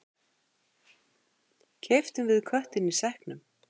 Keyptum við köttinn í sekknum?